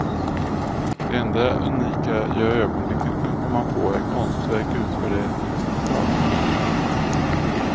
Det enda unika jag i ögonblicket kan komma på är konstverk utförda i ett exemplar.